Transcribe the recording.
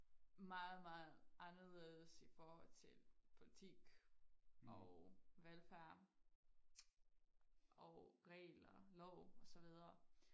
Meget meget anderledes i forhold til politik og velfærd og regler lov og så videre